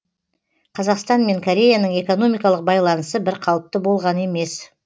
қазақстан мен кореяның экономикалық байланысы бірқалыпты болған емес